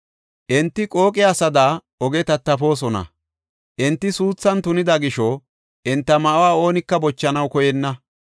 Enti qooqe asada, oge tattafoosona; enti suuthan tunida gisho enta ma7uwa oonika bochanaw koyenna.